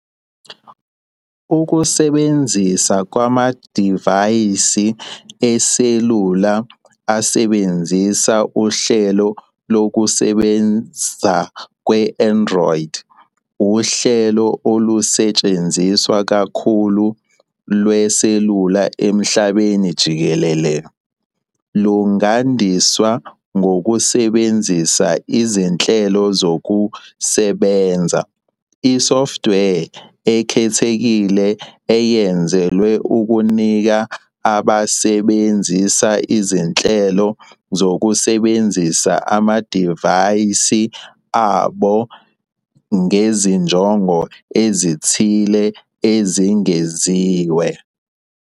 Ukusebenza kwamadivaysi eselula asebenzisa uhlelo lokusebenza lwe-Android, uhlelo olusetshenziswa kakhulu lweselula emhlabeni jikelele, lungandiswa ngokusebenzisa "izinhlelo zokusebenza" - isoftware ekhethekile eyenzelwe ukunika abasebenzisi izindlela zokusebenzisa amadivaysi abo ngezinjongo ezithile ezingeziwe.